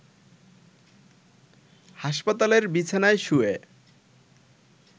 হাসপাতালের বিছানায় শুয়ে